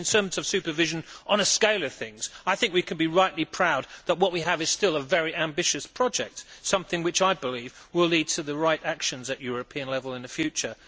Indeed, in terms of supervision, on a scale of things, I think we can be rightly proud that what we have is still a very ambitious project, something that I believe will lead to the right actions at European level in the future.